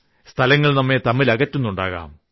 സ്ഥലങ്ങൾ നമ്മളെ തമ്മിലകറ്റുന്നുണ്ടാകാം